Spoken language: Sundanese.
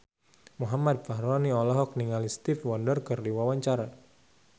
Muhammad Fachroni olohok ningali Stevie Wonder keur diwawancara